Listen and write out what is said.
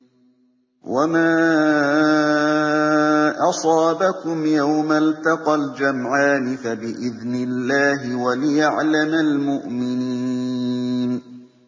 وَمَا أَصَابَكُمْ يَوْمَ الْتَقَى الْجَمْعَانِ فَبِإِذْنِ اللَّهِ وَلِيَعْلَمَ الْمُؤْمِنِينَ